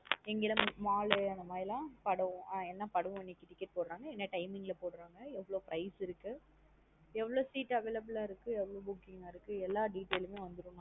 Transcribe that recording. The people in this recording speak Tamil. இங்கலாம் mall அந்த மாதரி லாம் படம் என்ன படம் ticket போடறாங்க என்ன timing லா போடறாங்க எவ்ளோ price இருக்கு எவ்ளோ seat availble லா இருக்கு எவ்ளோ book கிங் ஆ இருக்கு. எல்லா detail மே வந்த்ரூம்.